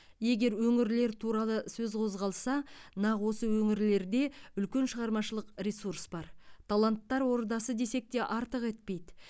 егер өңірлер туралы сөз қозғалса нақ осы өңірлерде үлкен шығармашылық ресурс бар таланттар ордасы десек те артық етпейді